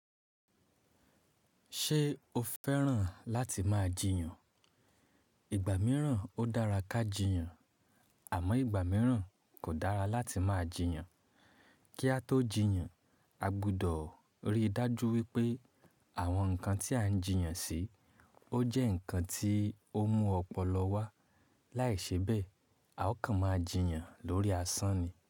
Ṣé o fẹ́ràn láti máa jiyàn? Ìgbà mìíràn ó dára ká jiyàn àmọ́ ìgbà mìíràn kò dára láti máa jiyàn. Kí a tó jiyàn, a gbọdọ̀ ríi dájú wípé àwọn ǹkan tí à ń jiyàn sí, ó jẹ́ ǹkan tí ó mú ọpọlọ wá. Láìṣebẹ̀, a ó kàn máa jiyàn lórí asán ni.